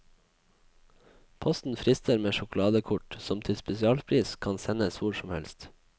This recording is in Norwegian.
Posten frister med sjokoladekort, som til spesialpris kan sendes hvor som helst.